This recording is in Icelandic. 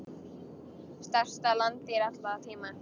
Stærsta landdýr allra tíma.